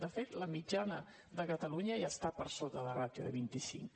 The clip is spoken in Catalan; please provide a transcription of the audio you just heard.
de fet la mitjana de catalunya ja està per sota de ràtio de vint i cinc